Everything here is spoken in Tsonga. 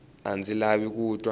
a ndzi lavi ku twa